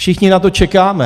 Všichni na to čekáme.